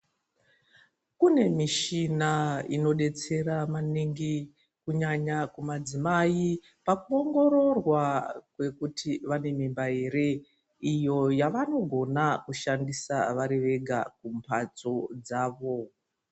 Kune mishina inodetsera maningi, kunyanya kumadzimai pakuongororwa kwekuti vane mimba ere. Iyo yevanogona kushandisa vari vega kumphatso dzavo.